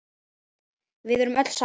Við erum öll sátt.